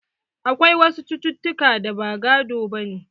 Akwai wasu cucutuka da ba gado bane.